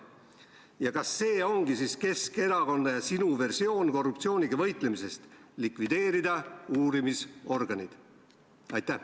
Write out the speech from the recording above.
Ja kas see ongi siis Keskerakonna ja sinu versioon korruptsiooniga võitlemisest, likvideerida uurimisorganid?